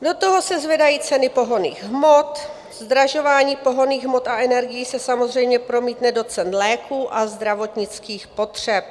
Do toho se zvedají ceny pohonných hmot, zdražování pohonných hmot a energií se samozřejmě promítne do cen léků a zdravotnických potřeb.